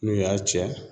N'o y'a tiɲɛ